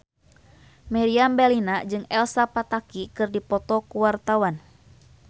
Meriam Bellina jeung Elsa Pataky keur dipoto ku wartawan